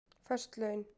Föst laun